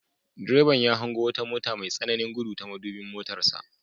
Direban ya hango wata mota mai tsananin gudu ta madubin motarsa.